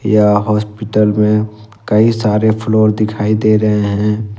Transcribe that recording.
यह हॉस्पिटल में कई सारे फ्लोर दिखाई दे रहे हैं।